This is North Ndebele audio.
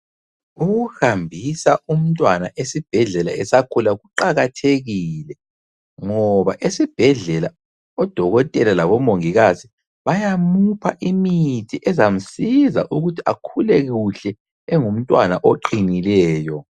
Ukuhambisa umntwana esibhedlela esakhula kuqakathekile ngoba esibhedlela odokotela labomongikazi bayamupha imithi ezamsiza ukuthi akhule kuhle engumntwana oqinileyo.